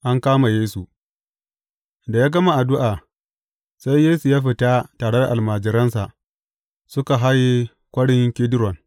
An kama Yesu Da ya gama addu’a, sai Yesu ya fita tare da almajiransa suka haye Kwarin Kidron.